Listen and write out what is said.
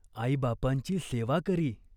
आईबापांची सेवा करी.